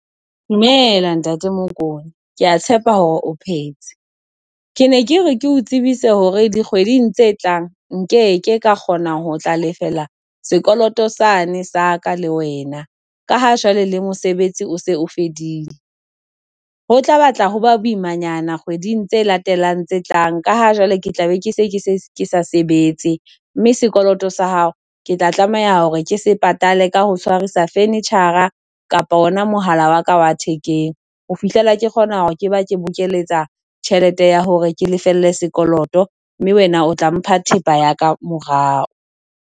Dumela ntate Mokone. Kea tshepa hore o phetse. Ke ne ke re ke o tsebise hore dikgweding tse tlang, nke ke ka kgonang ho tla lefela sekoloto sane sa ka le wena ka ha jwale le mosebetsi o se o fedile, ho tla batla ho ba boimanyana kgweding tse latelang tse tlang. Ka ha jwale ke tla be ke sa sebetse mme sekoloto sa hao ke tla tlameha hore ke se patale ka ho tshwarisa furniture-ra kapa ona mohala wa ka wa thekeng, ho fihlela ke kgona hore ke ba ke bokeletsa tjhelete ya hore ke lefelle sekoloto mme wena o tla mpha thepa ya ka morao.